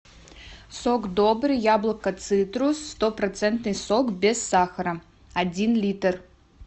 сок добрый яблоко цитрус стопроцентный сок без сахара один литр